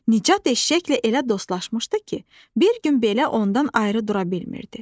Nicat eşşəklə elə dostlaşmışdı ki, bir gün belə ondan ayrı dura bilmirdi.